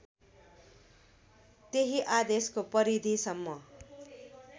त्यही आदेशको परिधीसम्म